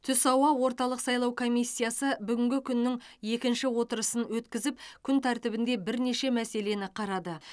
түс ауа орталық сайлау комиссиясы бүгінгі күннің екінші отырысын өткізіп күн тәртібінде бірнеше мәселені қарады